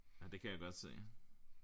Ja det kan jeg godt se